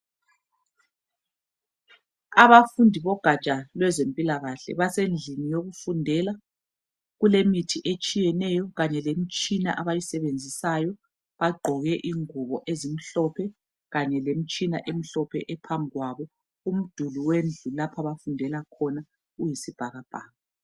Abafundi bogaja lemphilakahle, besendlini yokufundela. Kulemithi etshiyeneyo kanye lemitshina abayisebenzisayo. Bagqoke iguwo ezimhlophe, kanye lemitshina emhlophe ephambi kwabo, imduli wendlu lapho abafundela khona uyisibhakabhaka.